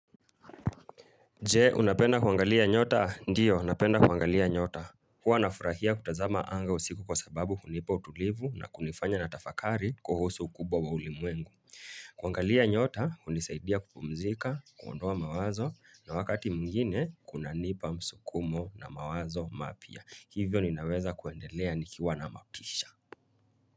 Je, unapenda kuangalia nyota? Ndiyo, napenda kuangalia nyota. Kwa nafurahia kutazama anga usiku kwa sababu kunipa utulivu na kunifanya natafakari kuhusu ukubwa wa ulimwengu. Kuangalia nyota, unisaidia kupumzika, kuondoa mawazo na wakati mwingine kuna nipa msukumo na mawazo mapia. Hivyo ninaweza kuendelea nikiwa na mautisha.